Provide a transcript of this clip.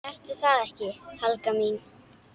Ertu það ekki, Helga mín?